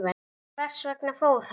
Hvers vegna fór hann?